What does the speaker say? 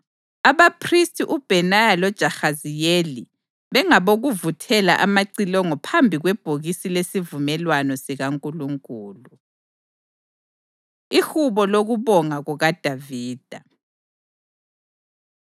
abaphristi uBhenaya loJahaziyeli bengabokuvuthela amacilongo phambi kwebhokisi lesivumelwano sikaNkulunkulu. Ihubo Lokubonga KukaDavida